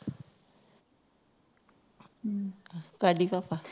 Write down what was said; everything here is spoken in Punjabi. ਕਾ ਪਾ